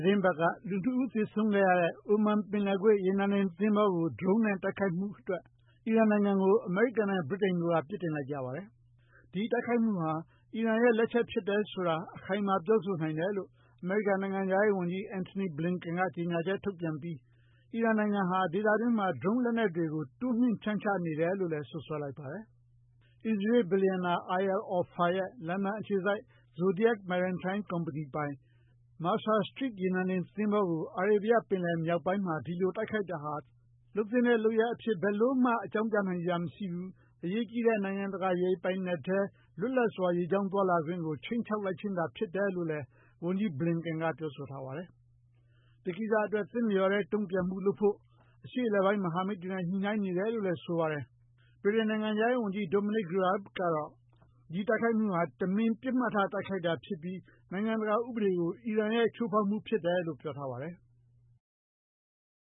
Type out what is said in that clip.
တင်းပတ်က လူ ၂ ဦး သေဆုံးခဲ့ရတဲ့ အိုမန် ပင်လယ်ကွေ့ ရေနံတင် သဘောၤကို Drone နဲ့ တိုက်ခိုက်ခဲ့မှု အတွက် အီရန်နိုင်ငံကို အမေရိကန်နဲ့ ဗြိတိန်တို့က ပြစ်တင်လိုက်ကြပါတယ်။ ဒီတိုက်ခိုက်မှုဟာ အီရန်ရဲ့ လက်ချက် ဖြစ်တယ်ဆိုတာ အခိုင်အမာ ပြောနိုင်တယ်လို့ အမေရိကန် နိုင်ငံခြားရေး ဝန်ကြီး Antony Blinken က ကြေညာချက် ထုတ်ပြန်လိုက်ပြီး အီရန်နိုင်ငံဟာ ဒေသတွင်းမှာ Drone လက်နက်တွေ တိုးမြှင့် ဖြန့်ချနေတယ်လို့လည်း စွပ်စွဲလိုက်ပါတယ်။ အစ္စရေးလ် ဘီလျံနာ Eyal Ofer ရဲ့ လန်ဒန် အခြေစိုက် Zodiac Maritime ပိုင် ကုမ္ပဏီပိုင် Mercer Street ရေနံတင် သဘောၤကို အာရေဗျ ပင်လယ် မြောက်ပိုင်းမှာ ဒီလို တိုက်ခိုက်တာဟာ သင့်လျော်တဲ့ လုပ်ရပ် အဖြစ် ဘယ်လိုမှ အကြောင်းပြနိုင်စရာ မရှိဘူး၊ အရေးကြီးတဲ့ နိုင်ငံတကာ ရေပိုင်နက်ထဲ လွတ်လပ်စွာ ရေကြောင်း သွားလာခွင့်ကို ခြိမ်းခြောက်ခြင်းသာ ဖြစ်တယ်လို့လည်း ဝန်ကြီး Blinken က ပြောဆိုထားပါတယ်။ ဒီကိစ္စ အတွက် သင့်လျော်တဲ့ တုံ့ပြန်မှု လုပ်ဖို့ အရှေ့အလယ်ပိုင်း မဟာမိတ်တွေနဲ့ ညှိနှိုင်းနေတယ်လို့လည်း ပြောပါတယ်။ ဗြိတိန် နိုင်ငံခြားရေး ဝန်ကြီး Domanic Raab ကလည်း ဒီ တိုက်ခိုက်မှုဟာ တမင် ပစ်မှတ်ထား တိုက်ခိုက်တာ ဖြစ်ပြီး နိုင်ငံတကာ ဥပဒေကို အီရန်ရဲ့ ချိုးဖောက်မှု ဖြစ်တယ်လို့ ပြောပါတယ်။